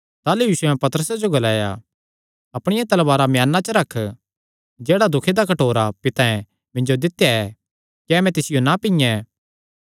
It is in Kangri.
ताह़लू यीशुयैं पतरसे जो ग्लाया अपणिया तलवारा म्याना च रख जेह्ड़ा दुखे दा कटोरा पितैं मिन्जो दित्या ऐ क्या मैं तिसियो ना पीयें